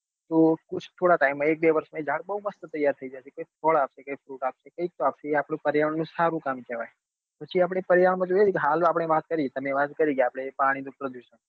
તો વૃક્ષ થોડા time માં એક બે વર્ષ ના એ ઝાડ બઉ મસ્ત તૈયાર થઇ જશે કઈક ફળ આપશે કઈક fruit કઈક તો આપશે એ આપડા પર્યાવરણ ની સારું કામ કેવાય પછી આપડે પર્યાવરણ માં જોઈએ ને કે હાલ આપડે વાત કરી તમે વાત કરી કે આપડે પાણી નું પ્રદુષણ કહીયે